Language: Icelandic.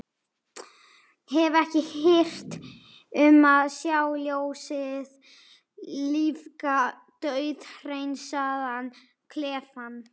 Hef ekki hirt um að sjá ljósið lífga dauðhreinsaðan klefann.